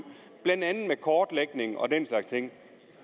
blandt andet med kortlægning og den slags ting